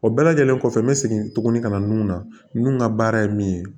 O bɛɛ lajɛlen kɔfɛ n bɛ segin tuguni ka na nun na nun ka baara ye min ye